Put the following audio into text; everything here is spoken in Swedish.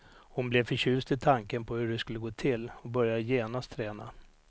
Hon blev förtjust i tanken på hur det skulle gå till och började genast träna.